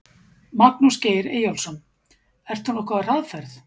Magnús Geir Eyjólfsson: Ert þú nokkuð á hraðferð?